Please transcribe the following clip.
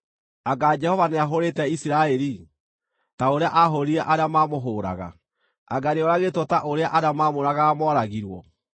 Anga Jehova nĩahũũrĩte Isiraeli, ta ũrĩa aahũũrire arĩa maamũhũũraga? Anga nĩoragĩtwo ta ũrĩa arĩa maamũũragaga mooragirwo?